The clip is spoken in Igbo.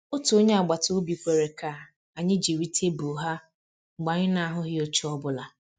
Otu onye agbata obi kwere ka anyị jiri tebụl ha mgbe anyị na-ahụghị oche ọ bụla